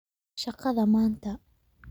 Shaqada maanta